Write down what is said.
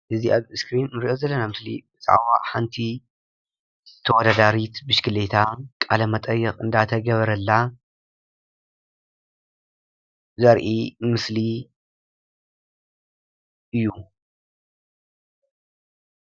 እዚ አብ እስኪሪን እንሪኦ ዘለና ምስሊ ብዛዕባ ሓንቲ ተወዳዳሪት ብሽክሌታ ቃለ መቀይቅ እናተገበረላ ዘርኢ ምስሊ እዩ፡፡